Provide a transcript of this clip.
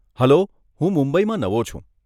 Hello, હું મુંબઈમાં નવો છું.